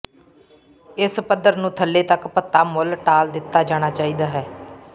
ਇਸ ਪੱਧਰ ਨੂੰ ਥੱਲੇ ਤੱਕ ਭੱਤਾ ਮੁੱਲ ਟਾਲ ਦਿੱਤਾ ਜਾਣਾ ਚਾਹੀਦਾ ਹੈ